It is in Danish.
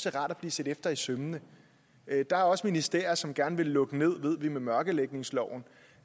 er rart at blive set efter i sømmene der er også ministerier som gerne vil lukke ned ved vi med mørklægningsloven